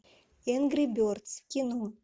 энгри бердс кино